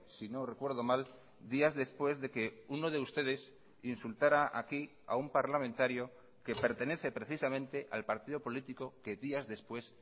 si no recuerdo mal días después de que uno de ustedes insultará aquí a un parlamentario que pertenece precisamente al partido político que días después